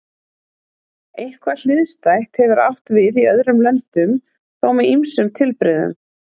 Eitthvað hliðstætt hefur átt við í öðrum löndum, þó með ýmsum tilbrigðum.